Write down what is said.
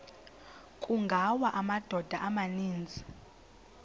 kungawa amadoda amaninzi